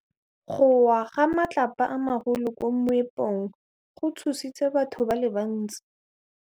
Go wa ga matlapa a magolo ko moepong go tshositse batho ba le bantsi.